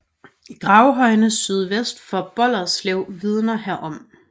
Gravhøjene sydvest for Bolderslev vidner herom